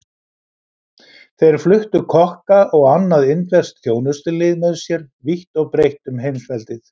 Þeir fluttu kokka og annað indverskt þjónustulið með sér vítt og breitt um heimsveldið.